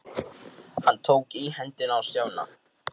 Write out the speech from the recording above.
Hann tók í hendina á Stjána.